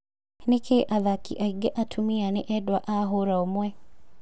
Nĩkĩĩ athaki aingĩ atumia ni endwa a hũra ũmwe?